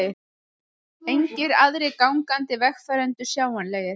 Engir aðrir gangandi vegfarendur sjáanlegir.